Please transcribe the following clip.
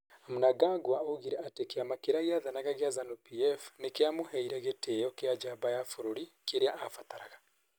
Mnangagwa oigire atĩ kĩama kĩrĩa gĩathanaga gĩa Zanu-PF nĩ kĩamũheire gĩtĩĩo. Kĩa njamba ya bũrũri kĩrĩa aabataraga.